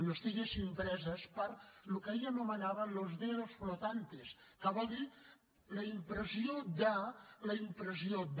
no estiguessin preses pel que ell anomenava los dedos flotantes que vol dir la impressió de la impressió de